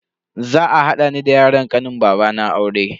Za a hada ni da yaron kanin babana aure.